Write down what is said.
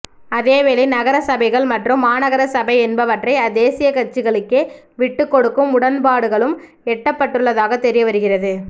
அதேவேளை நகர சபைகள் மற்றும் மாநகர சபை என்பனவற்றை தேசிய கட்சிகளுக்கே விட்டுக் கொடுக்கும் உடன்பாடுகளும் எட்டப்பட்டுள்ளதாகத் தெரியவருகிறது